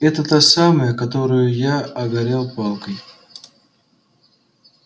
это та самая которую я огрел палкой